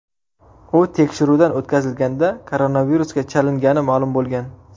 U tekshiruvdan o‘tkazilganda koronavirusga chalingani ma’lum bo‘lgan.